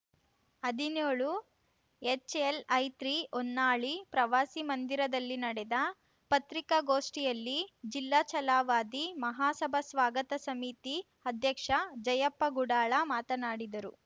ಹದಿನ್ಯೋಳುಎಚ್‌ಎಲ್‌ಐತ್ರಿ ಹೊನ್ನಾಳಿ ಪ್ರವಾಸಿ ಮಂದಿರದಲ್ಲಿ ನಡೆದ ಪತ್ರಿಕಾಗೋಷ್ಠಿಯಲ್ಲಿ ಜಿಲ್ಲಾ ಛಲವಾದಿ ಮಹಾಸಭಾ ಸ್ವಾಗತ ಸಮಿತಿ ಅಧ್ಯಕ್ಷ ಜಯಪ್ಪ ಗುಡಾಳ ಮಾತನಾಡಿದರು